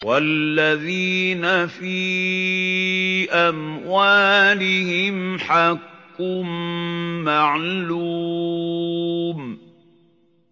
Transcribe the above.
وَالَّذِينَ فِي أَمْوَالِهِمْ حَقٌّ مَّعْلُومٌ